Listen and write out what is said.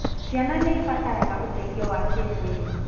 Ciana nĩ ibataraga ũteithio wa kĩĩmwĩrĩ.